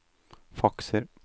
fakser